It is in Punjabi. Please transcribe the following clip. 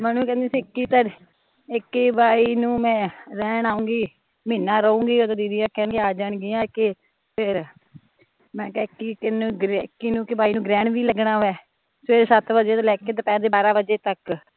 ਮਨੁ ਕਹਿਦੀ ਸੀ ਇੱਕੀ ਬਾਈ ਨੂ ਮੈਂ ਰਹਿਣ ਆਊਗੀ ਮਹੀਨਾ ਰਹੂਗੀ ਓਹਦੋਂ ਦੀਦੀ ਹੁਣੀ ਕਹਿ ਆ ਜਾਣਗੀਆ ਕਿ ਫਿਰ ਮੈਂ ਕਿਹਾ ਇੱਕੀ ਇੱਕੀ ਨੂ ਕਿ ਬਾਈ ਨੂ ਗ੍ਰਹਣ ਵੀ ਲੱਗਣਾ ਵਾਂ ਫਿਰ ਸੱਤ ਵਜੇ ਤੋਂ ਲੈ ਕੇ ਦੁਪਹਿਰ ਦੇ ਬਾਰਾਂ ਵਜੇ ਤੱਕ